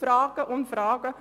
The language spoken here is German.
– Fragen über Fragen.